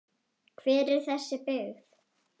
Hver er þessi byggð?